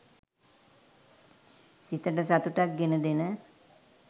සිතට සතුටක් ගෙන දෙන